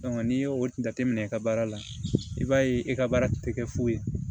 n'i y'o jate minɛ i ka baara la i b'a ye e ka baara tɛ kɛ foyi ye